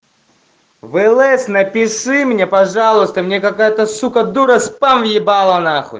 влс напиши мне пожалуйста мне какая-то сука дура спам ебала нахуй